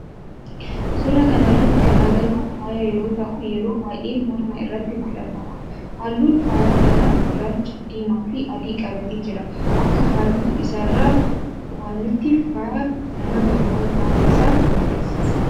Suuraa kana irratti kan agarru faaya yoo ta'u yeroo baayyee morma irratti godhatama. Halluun faaya kanaa, gurraacha , diimaa fi adii qabatee jira. Akka halluu isaa irraa hubannutti faaya ummata oromoo ta'uu isaa agarsiisa.